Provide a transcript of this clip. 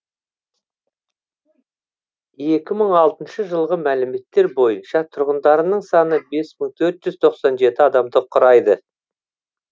екі мың алтыншы жылғы мәліметтер бойынша тұрғындарының саны бес мың төрт жүз тоқсан жеті адамды құрайды